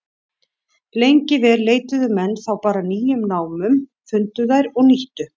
Lengi vel leituðu menn þá bara að nýjum námum, fundu þær og nýttu.